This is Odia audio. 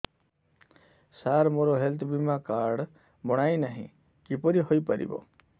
ସାର ମୋର ହେଲ୍ଥ ବୀମା କାର୍ଡ ବଣାଇନାହିଁ କିପରି ହୈ ପାରିବ